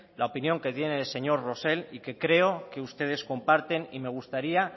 la opinión que tiene el señor rosell y que creo que ustedes comparten y me gustaría